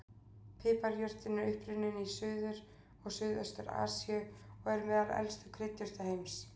Piparjurtin er upprunninn í Suður- og Suðaustur-Asíu og er meðal elstu kryddjurta heims.